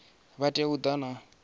vha tea u ḓa na